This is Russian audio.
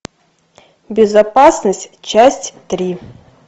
безопасность часть три